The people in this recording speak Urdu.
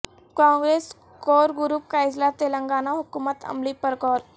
کانگریس کور گروپ کا اجلاس تلنگانہ حکمت عملی پر غور